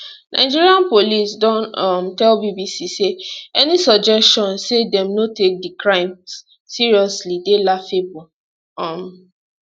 nigerian police don um tell bbc say any suggestion say dem no take di crimes seriously dey laughable um